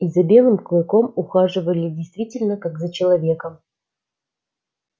и за белым клыком ухаживали действительно как за человеком